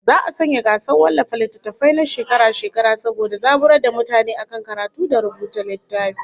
Za'a sanya gasar wallafa littattafai na shekara-shekara saboda zaburar da mutane akan karatu da rubuta littafi